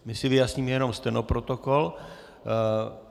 My si vyjasníme jenom stenoprotokol.